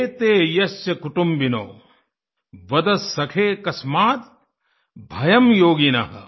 एते यस्य कुटिम्बिनः वद सखे कस्माद् भयं योगिनः